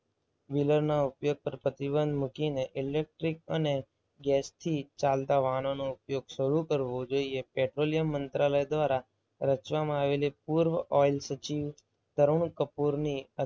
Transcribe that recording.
wheeler ના ઉપયોગ પર પ્રતિબંધ મૂકી ને ઈલેક્ટ્રીક અને ગેસથી ચાલતા વાહનોનો ઉપયોગ શરૂ કરવો જોઈએ. પેટ્રોલિયમ મંત્રાલય દ્વારા રચવામાં આવેલી પૂર્વ ઓઇલ સચિવ તરુણ કપૂરની